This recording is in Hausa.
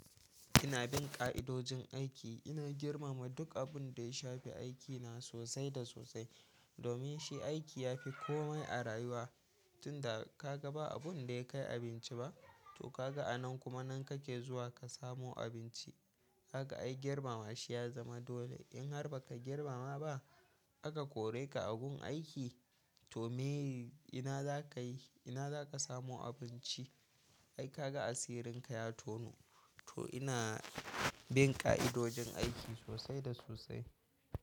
Ina bin ka'idojin aiki, ina girmama duk abun da ya shafi aikina sosai da sosai. Domin shi aiki ya fi komai a rayuwa, tunda ka ga ba abun da ya kai abinci ba, to ka ga a nan kuma nan kake zuwa ka samo abinci. Haka ai girmama shi ya zama dole. In har ba ka girmama ba aka kore ka agun aiki to me ina za ka yi? Ina za ka samo abinci? Ai ka ga asirinka ya tono. To ina bin ka'idojin aiki sosai da sosai.